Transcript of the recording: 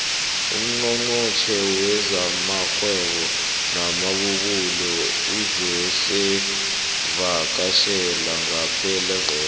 ungqongqotjhe wezamarhwebo namabubulo uzosivakatjhela ngepelaveke